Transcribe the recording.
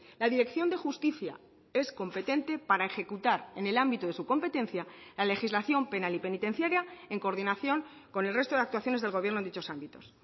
la dirección de justicia es competente para ejecutar en el ámbito de su competencia la legislación penal y penitenciaria en coordinación con el resto de actuaciones del gobierno en dichos ámbitos